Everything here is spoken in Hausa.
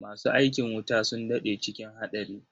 Masu aikin wuta sun daɗe cikin haɗari.